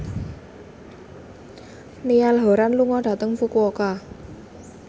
Niall Horran lunga dhateng Fukuoka